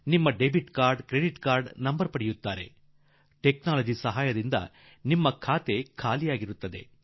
ನಿಮ್ಮ credit debit card number ತೆಗೆದುಕೊಂಡುಬಿಡುವರು ಮತ್ತು ತಂತ್ರಜ್ಞಾನದ ಮೂಲಕ ನಿಮ್ಮ ಖಾತೆ ಖಾಲಿಯಾಗಿಬಿಡುತ್ತದೆ